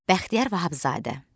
Bəxtiyar Vahabzadə.